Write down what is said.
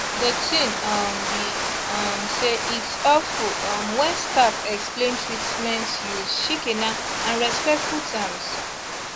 de tin um be um say its helpful um wen staff explain treatments use shikena and respectful terms